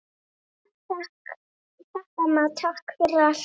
Takk, amma, takk fyrir allt.